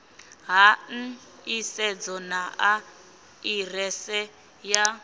ha nḓisedzo na aḓirese ya